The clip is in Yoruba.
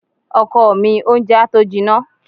Ọkọ mi, oúnjẹ á tó jinná.